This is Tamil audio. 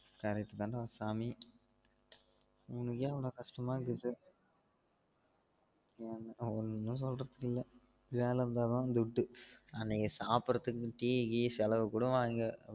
Correct தான் டா சாமி உனக்கே அவளோ கஷ்டமா இருக்குது எனக்குலாம் ஒன்னும் சொல்றதுக்கு இல்ல வேல இருந்தா தான் துட்டு அன்னைக்கு சாப்டுரதுக்கு டீ கீ செலவுக்கு கூட வாங்க